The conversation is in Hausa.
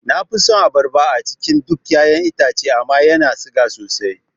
Nafi son abarba a cikin dukan ƴaƴan itace amma yana siga sosai